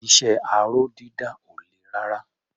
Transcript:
Iṣẹ́ aró dídà ò le rárá.